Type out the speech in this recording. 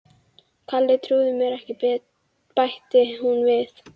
Kalli trúir mér ekki bætti hún við.